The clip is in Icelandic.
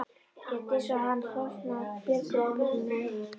Rétt eins og hann flosnaði Björg upp úr námi.